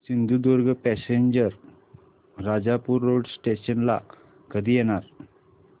Sindhudurg passenger Rajapur road station ला कधी येणार